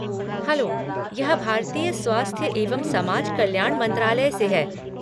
Hello! यह भारतीय स्वास्थ्य एवं समाज कल्याण मंत्रालय से है।